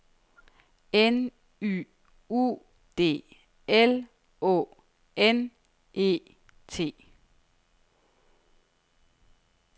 N Y U D L Å N E T